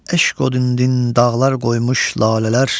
Eşq odündün dağlar qoymuş lalələr.